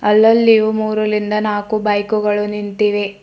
ಅಲ್ಲಲ್ಲಿಯೂ ಮೂರರಿಂದ ನಾಲ್ಕು ಬೈಕುಗಳು ನಿಂತಿವೆ.